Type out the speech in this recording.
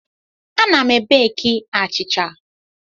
Ana m beki achịcha.